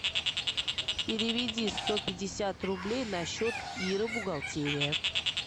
переведи сто пятьдесят рублей на счет иры бухгалтерия